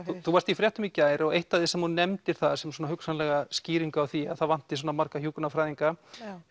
þú varst í fréttum í gær og eitt af því sem þú nefndir þar sem svona hugsanlega skýringu á því að það vanti svona marga hjúkrunarfræðinga